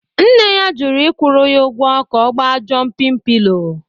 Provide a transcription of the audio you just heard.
Nne ya jụrụ ịkwụru ya ụgwọ ka ọ gba jompin pilo